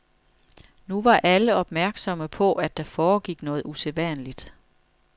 Nu var alle opmærksomme på, at der foregik noget usædvanligt.